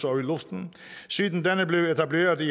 og i luften siden denne blev etableret i